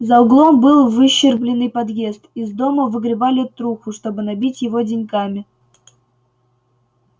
за углом был выщербленный подъезд из дома выгребали труху чтобы набить его деньгами